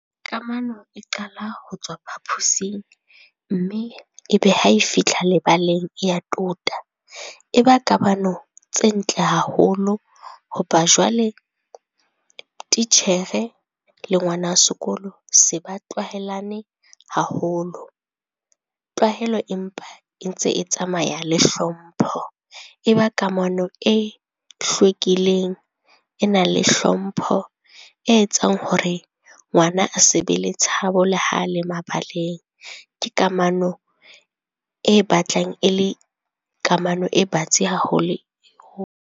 Kamano e qala ho tswa phapusing mme e be ha e fihla lebaleng ya tota. E ba kamano tse ntle haholo, ho ba jwale titjhere le ngwana sekolo se ba tlwaelane haholo. Tlwahelo empa e ntse e tsamaya le hlompho, e ba kamano e hlwekileng e nang le hlompho, e etsang hore ngwana a se be le tshabo le ha le mabaleng. Ke kamano e batlang e le kamano e batsi ha ho le ho.